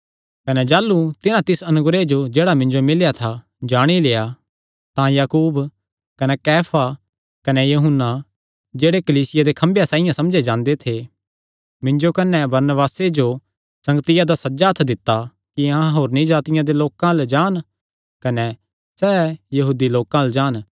कने जाह़लू तिन्हां तिस अनुग्रह जो जेह्ड़ा मिन्जो मिल्लेया था जाणी लेआ तां याकूब कने कैफा कने यूहन्ना जेह्ड़े कलीसिया दे खम्भेयां साइआं समझे जांदे थे मिन्जो कने बरनबासे जो संगतिया दा सज्जा हत्थ दित्ता कि अहां होरनी जातिआं दे लोकां अल्ल जान कने सैह़ यहूदी लोकां अल्ल जान